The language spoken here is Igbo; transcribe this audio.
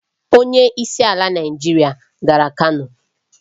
Onye isi ala Naịjirịa gara Kano.